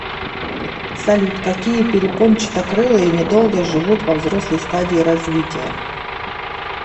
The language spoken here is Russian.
салют какие перепончатокрылые недолго живут во взрослой стадии развития